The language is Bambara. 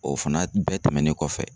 O fana bɛɛ tɛmɛnen kɔfɛ